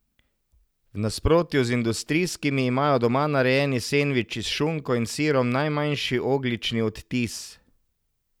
V nasprotju z industrijskimi, imajo doma narejeni sendviči s šunko in sirom najmanjši ogljični odtis.